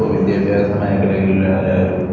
ഇപ്പൊ വിദ്യാഭ്യാസ മേഖലയില്‍ ആയാലും,